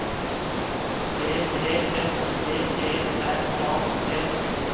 D E S P E R A T